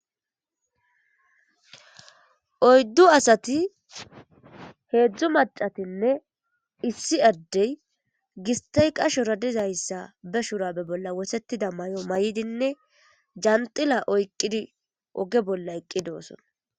Oyddu asati heedzdzu macatinne issi addey gistay qasho radizayssa be shura be bolla wosetida may'o may'dinne janxila oyqqidi oge bolla eqqi doosona.